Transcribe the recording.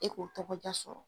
E k'o tɔgɔja sɔrɔ